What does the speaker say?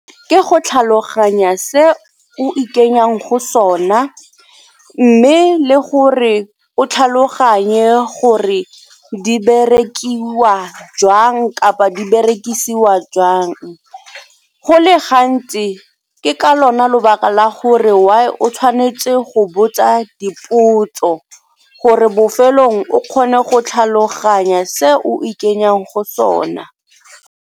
Ke go tlhaloganya se o ikenyang go sona mme le gore o tlhaloganye gore di berekiwa jwang kapa di berekisiwa jwang. Go le gantsi ke ka lona lebaka la gore why o tshwanetse go botsa dipotso gore bofelong o kgone go tlhaloganya se o ikenyang go sona.